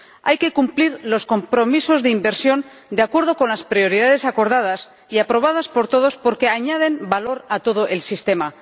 Hay que cumplir los compromisos de inversión de acuerdo con las prioridades acordadas y aprobadas por todos porque añaden valor a todo el sistema.